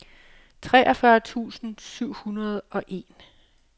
treogfyrre tusind syv hundrede og en